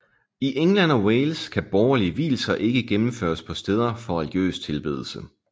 I England og Wales kan borgerlige vielser ikke gennemføres på steder for religiøs tilbedelse